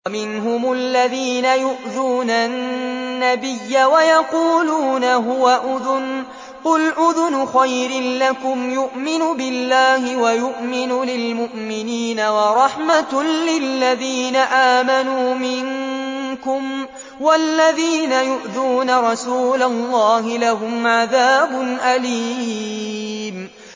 وَمِنْهُمُ الَّذِينَ يُؤْذُونَ النَّبِيَّ وَيَقُولُونَ هُوَ أُذُنٌ ۚ قُلْ أُذُنُ خَيْرٍ لَّكُمْ يُؤْمِنُ بِاللَّهِ وَيُؤْمِنُ لِلْمُؤْمِنِينَ وَرَحْمَةٌ لِّلَّذِينَ آمَنُوا مِنكُمْ ۚ وَالَّذِينَ يُؤْذُونَ رَسُولَ اللَّهِ لَهُمْ عَذَابٌ أَلِيمٌ